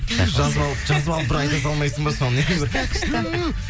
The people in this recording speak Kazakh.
жазып алып бір айта салмайсың ба соны